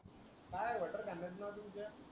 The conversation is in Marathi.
काई तुमचा